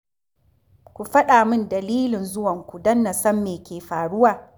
Ku faɗa min dalilin zuwanku don na san me ke faruwa.